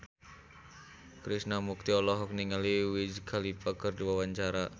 Krishna Mukti olohok ningali Wiz Khalifa keur diwawancara